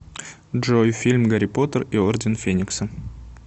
джой фильм гарри поттер и орден феникса